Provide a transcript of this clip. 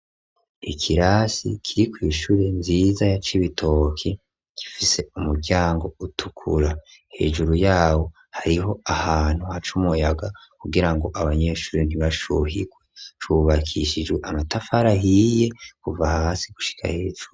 Ikirasi kiri kw'ishuri nziza ya Cibitoke gifise umuryango utukura, hejuru yawo hariho ahantu haca umuyaga kugira ngo abanyeshuri ntibashuhirwe, cubakishijwe amatafari ahiye kuva hasi gushika hejuru.